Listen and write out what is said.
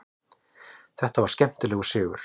Þetta var skemmtilegur sigur.